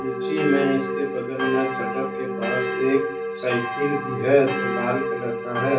मे इसके बगल मे शटर के पास एक साइकिल भी है जो लाल कलर का है।